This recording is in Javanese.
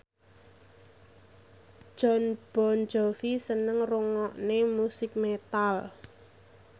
Jon Bon Jovi seneng ngrungokne musik metal